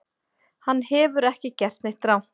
Hann hefur ekki gert neitt rangt